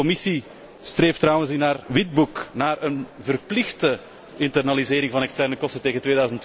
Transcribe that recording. De Commissie streeft trouwens in haar Witboek naar een verplichte internalisering van externe kosten tegen